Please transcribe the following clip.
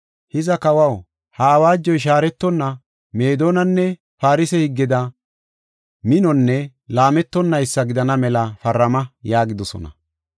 Hiza kawaw, ha awaajoy shaaretonna Meedonanne Farse higgeda minonne laametonnaysa gidana mela parama” yaagidosona.